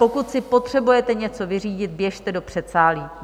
Pokud si potřebujete něco vyřídit, běžte do předsálí.